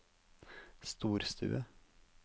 storstue